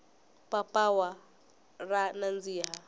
papawa ra nandziha